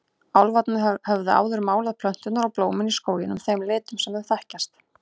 Álfarnir höfðu áður málað plönturnar og blómin í skóginum þeim litum sem við þekkjum.